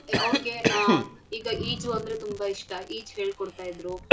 ಅವ್ರಗೆ ಆಹ್ ಈಗ ಈಜು ಅಂದ್ರೆ ತುಂಬಾ ಇಷ್ಟ ಈಜು ಹೇಳ್ಕೊಡ್ತಾಯಿದ್ರು.